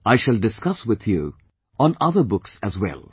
I shall discuss with you on other books as well